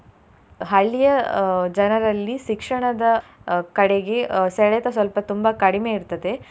ಹಳ್ಳಿಯ ಅಹ್ ಜನರಲ್ಲಿ ಶಿಕ್ಷಣದ ಅಹ್ ಕಡೆಗೆ ಅಹ್ ಸೆಳೆತ ಸ್ವಲ್ಪ ತುಂಬಾ ಕಡಿಮೆ ಇರ್ತದೆ.